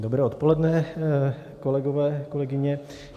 Dobré odpoledne, kolegové, kolegyně.